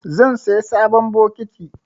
Zan saya sabon bokiti.